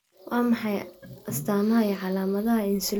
Waa maxay astamaha iyo calaamadaha Insulin-ka sida korriinka oo kale?